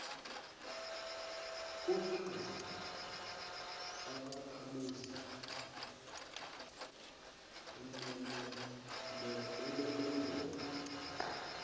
kwephandle ubakhamuzi esinenomboro